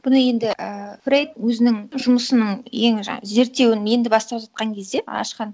бұны енді ііі фрейд өзінің жұмысының ең жаңа зерттеуін енді бастап жатқан кезде ашқан